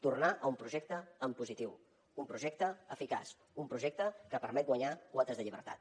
tornar a un projecte en positiu un projecte eficaç un projecte que permet guanyar quotes de llibertat